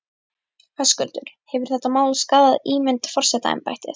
Höskuldur: Hefur þetta mál skaðað ímynd forsetaembættis?